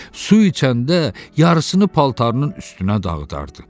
Su içəndə yarısını paltarının üstünə dağıdardı.